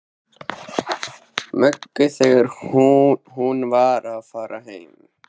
Möggu þegar hún var að fara heim.